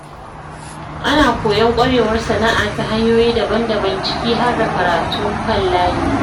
Ana koyon ƙwarewar sana’a ta hanyoyi daban-daban ciki har da karatun kan layi.